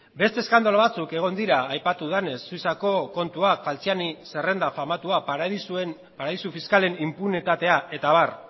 beste eskandalu batzuk egon dira aipatu denez suitzako kontuak falciani zerrenda famatua paradisu fiskalen inpunitatea eta abar